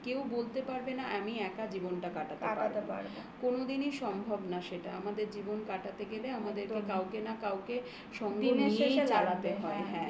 কেউ বলতে পারবে না. আমি একা জীবনটা কাটাতে পারবো কাটাতে পারবো. কোনদিন কোনদিনই সম্ভব না সেটা. আমাদের জীবন কাটাতে গেলে আমাদের এবার কাউকে না কাউকে দিনের শেষে